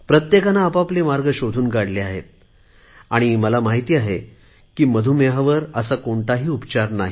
प्रत्येकाने आपापले मार्ग शोधून काढले आहेत आणि मला माहित आहे मधुमेहावर असा कोणता उपचार नाही